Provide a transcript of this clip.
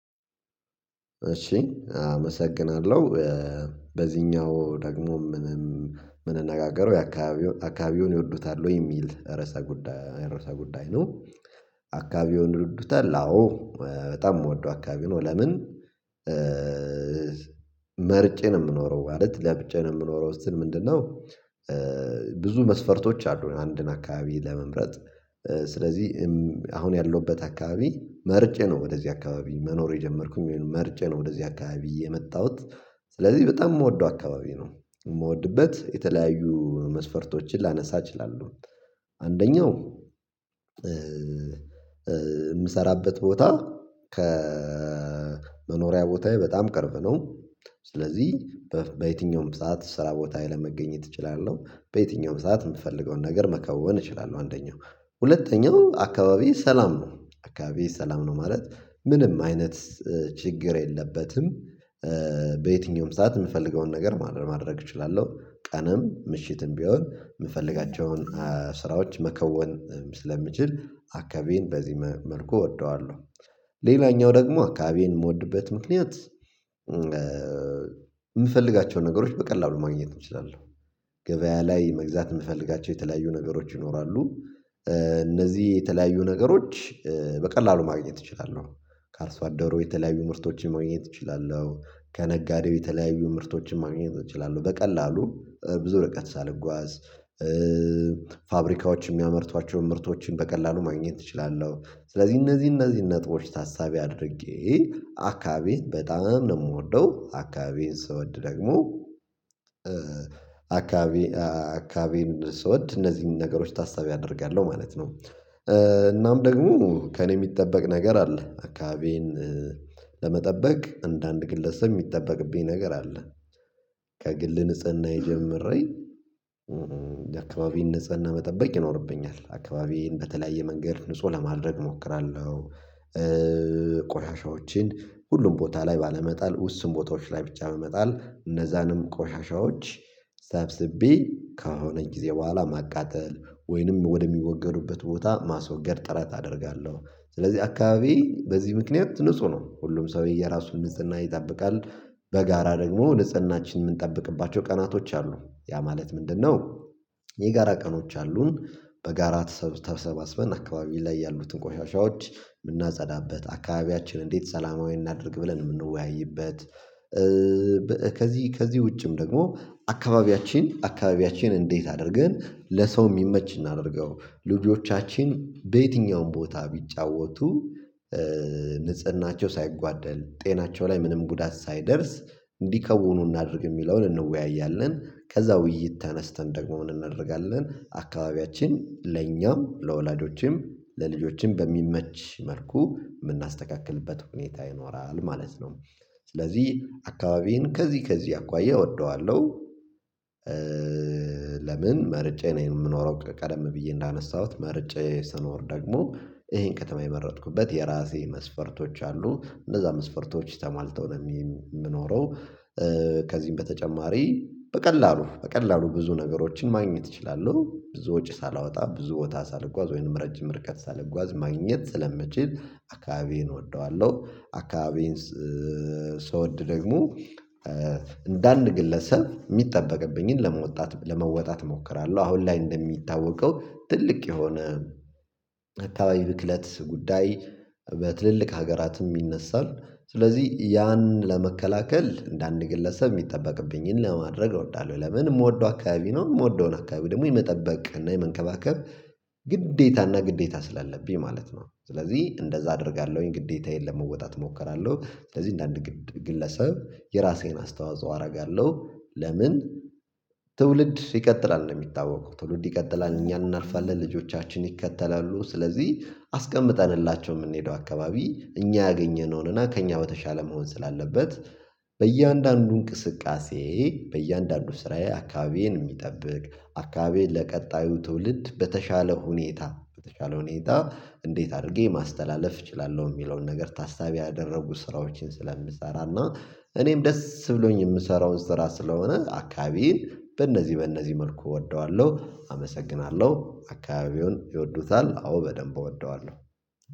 እሺ አመሰግናለሁ በዚህኛው ደግሞ ምንም የምንነጋገረው የአካባቢውን ይወዱታል ወይ የሚል ርዕሰ ጉዳይ ርዕሰ ጉዳይ ነው። አካባቢውን ይወዱታል? አዎ በጣም የምወደው አካባቢ ነው። ለምን መርጬ ነው የምኖረው ማለት ለብጬ ነው የምኖረው እስቲ ምንድነው? ብዙ መስፈርቶች አሉኝ አንድን አካባቢ ለመምረጥ ስለዚህ አሁን ያለሁበት አካባቢ መርጬ ነው ወደዚህ አካባቢ መኖር የጀመርኩም የሚሆነው መርጬ ወደዚህ አካባቢ የመጣሁት ስለዚህ በጣም የምወደው አካባቢ ነው። የምወድበት የተለያዩ መስፈርቶችን ላነሳ እችላለሁ። አንደኛው የምሰራበት ቦታ ከመኖሪያ ቦታዬ በጣም ቅርብ ነው። ስለዚህ በየትኛውም ሰዓት ስራ ቦታ ላይ ለመገኘት እችላለሁ በየትኛውም ሰዓት የምፈልገውን ነገር መከወን እችላለሁ አንደኛው ሁለተኛው አካባቢ ሰላም ነው አካባቢ ሰላም ነው ማለት ምንም አይነት ችግር የለበትም። በየትኛውም ሰዓት የምፈልገውን ነገር ማድረግ እችላለሁ ቀነም ምሽትም ቢሆን የምፈልጋቸውን ስራዎች መከወን ስለምችል አካባቢን በዚህ መልኩ እወደዋለሁ። ሌላኛው ደግሞ አካባቢን የምወድበት ምክንያት የምፈልጋቸው ነገሮች በቀላሉ ማግኘት እችላለሁ። ገበያ ላይ መግዛት የምፈልጋቸው የተለያዩ ነገሮች ይኖራሉ። እነዚህ የተለያዩ ነገሮች በቀላሉ ማግኘት ይችላሉ ካርሱ አደሩ የተለያዩ ምርቶችን ማግኘት እችላለሁ። ከነጋዴው የተለያዩ ምርቶችን ማግኘት እችላለሁ በቀላሉ ብዙ ርቀት ሳልጓዝ ፋብሪካዎች የሚያመርቷቸውን ምርቶችን በቀላሉ ማግኘት እችላለሁ። ስለዚህ እነዚህ እነዚህ ነጥቦች ታሳቢ አድርጌ አካባቢዬን በጣም ነው የምወደው አካባቢዬን ስወድ ደግሞ አካባቢ አካባቢዬን ስወድ እነዚህን ነገሮች ታሳቢ አደርጋለሁ ማለት ነው። እናም ደግሞ ከእኔ የሚጠበቅ ነገር አለ አካባቢዬን ለመጠበቅ እንደ አንድ ግለሰብ የሚጠበቅብኝ ነገር አለ። ከግል ንጽህናዬ የጀምሬን የአካባቢዬነሰ ነሰጽህና መጠበቅ ይኖርብኛል አካባቢ በተለያየ መንገድ ንጹህ ለማድረግ እሞክራለሁ። ቆሻሻዎችን ሁሉም ቦታ ላይ ባለመጣል ውስን ቦታዎች ላይ ብቻ በመጣል እነዛንም ቆሻሻዎች ሰብስቤ ከሆነ ጊዜ በኋላ ማቃጠል ወይንም ወደሚወገዱበት ቦታ ማስወገድ ጥረት አደርጋለሁ ስለዚህ አካባቢ በዚህ ምክንያት ንጹህ ነው ሁሉም ሰው የራሱን ንጽህና ይጠብቃል። በጋራ ደግሞ ንጽህናችን የምንጠብቅባቸው ቀናቶች አሉ። ያ ማለት ምንድነው? የጋራ ቀኖች አሉን በጋራ ተሰባስበን አካባቢ ላይ ያሉትን ቆሻሻዎች የምናጸዳበት አካባቢያችን እንዴት ሰላማዊ እናድርግ ብለን የምንወያይበት? ከዚህ ከዚህ ውጭም ደግሞ አካባቢያችን አካባቢያችን እንዴት አድርገን ለሰው የሚመች እናደርገው ልጆቻችን በየትኛውም ቦታ ቢጫወቱ ንጽህናቸው ሳይጓደል ጤናቸው ላይ ምንም ጉዳት ሳይደርስ እንዲከውኑ እናድርግ የሚለውን እንወያያለን። ከዛ ውይይት ተነስተን ደግሞ ምን እናደርጋለን አካባቢያችን ለኛም ለወላጆችም ለልጆችም በሚመች መልኩ የምናስተካክልበት ሁኔታ ይኖራል ማለት ነው። ስለዚህ አካባቢዬን ከዚህ ከዚህ አኳያ እወደዋለሁ። ለምን መርጬ ነው የምኖረው ቀደም ብዬ እንዳነሳሁት መርጬ ስኖር ደግሞ ይሄን ከተማ የመረጥኩበት የራሴ መስፈርቶች አሉ እነዛ መስፈርቶች ተሟልተው ነው የምኖረው። ከዚህም በተጨማሪ በቀላሉ በቀላሉ ብዙ ነገሮችን ማግኘት እችላለሁ ብዙ ወጪ ሳላወጣ ብዙ ቦታ ሳልጓዝ ወይንም ረጅም ርቀት ሳልጓዝ ማግኘት ስለምችል አካባቢዬን እወደዋለሁ። አካባቢዬን ስወድ ደግሞ እንደ አንድ ግለሰብ የሚጠበቅብኝን ለመወጣት ለመወጣት እሞክራለሁ። አሁን ላይ እንደሚታወቀው ትልቅ የሆነ አካባቢ ብክለት ጉዳይ በትልልቅ ሀገራትም ይነሳል። ስለዚህ ያን ለመከላከል እንደ አንድ ግለሰብ የሚጠበቅብኝን ለማድረግ እወዳለሁ። ለምን የምወደው አካባቢ ነው የምወደውን አካባቢ ደግሞ የመጠበቅ እና የመንከባከብ ግዴታ እና ግዴታ ስላለብኝ ማለት ነው። ስለዚህ እንደዛ አደርጋለሁኝ ግዴታዬን ለመወጣት እሞክራለሁ። ስለዚህ እንደ አንድ ግለሰብ የራሴን አስተዋጽኦ አደርጋለሁ። ለምን ትውልድ ይቀጥላል እንደ ሚታወቀው ትውልድ ይቀጥላል እኛን እናልፋለን ልጆቻችን ይከተላሉ ስለዚህ አስቀምጠንላቸው የምንሄደው አካባቢ እኛ ያገኘነውንና ከእኛ በተሻለ መሆን ስላለበት። በእያንዳንዱ እንቅስቃሴ በእያንዳንዱ ስራዬ አካባቢዬን የሚጠብቅ አካባቢዬን ለቀጣዩ ትውልድ በተሻለ ሁኔታ በተሻለ ሁኔታ እንዴት አድርጌ ማስተላለፍ እችላለሁ የሚለውን ነገር ታስታቢ ያደረጉ ስራዎችን ስለምሰራና እኔም ደስ ብሎኝ የምሰራውን ስራ ስለሆነ አካባቢዬን በእነዚህ በእነዚህ መልኩ እወደዋለሁ። አመሰግናለሁ አካባቢውን ይወዱታል አዎ በደንብ እወደዋለሁ።